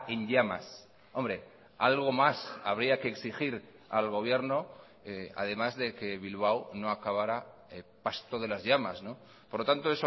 en llamas hombre algo más habría que exigir al gobierno además de que bilbao no acabará pasto de las llamas por lo tanto